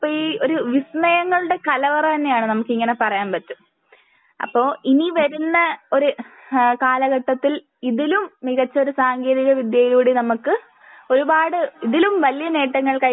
അപ്പൊ ഈ ഒരു വിസ്മയങ്ങളുടെ കലവറ തന്നെയാണ്. നമുക്ക് ഇങ്ങനെ പറയാൻ പറ്റും. അപ്പൊ ഇനി വരുന്ന ഒരു ഏഹ് കാലഘട്ടത്തിൽ ഇതിലും മികച്ച ഒരു സാങ്കേന്തിക വിദ്യയിലൂടെ നമുക്ക് ഒരുപാട് ഇതിലും വല്യേ നേട്ടങ്ങൾ